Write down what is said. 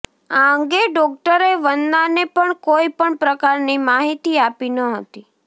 આ અંગે ડોકટરે વંદનાને પણ કોઇ પણ પ્રકારની માહિતી આપી ન હતી